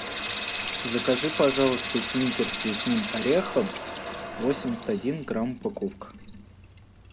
закажи пожалуйста сникерс с лесным орехом восемьдесят один грамм упаковка